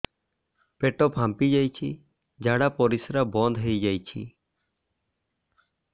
ପେଟ ଫାମ୍ପି ଯାଇଛି ଝାଡ଼ା ପରିସ୍ରା ବନ୍ଦ ହେଇଯାଇଛି